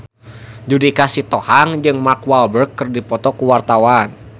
Judika Sitohang jeung Mark Walberg keur dipoto ku wartawan